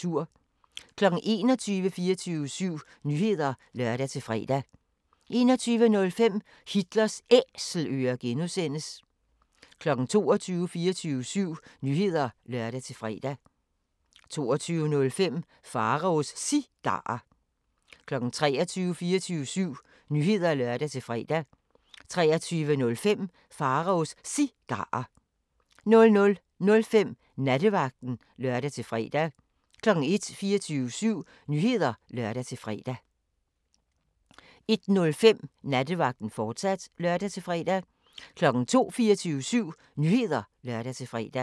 21:00: 24syv Nyheder (lør-fre) 21:05: Hitlers Æselører (G) 22:00: 24syv Nyheder (lør-fre) 22:05: Pharaos Cigarer 23:00: 24syv Nyheder (lør-fre) 23:05: Pharaos Cigarer 00:05: Nattevagten (lør-fre) 01:00: 24syv Nyheder (lør-fre) 01:05: Nattevagten, fortsat (lør-fre) 02:00: 24syv Nyheder (lør-fre)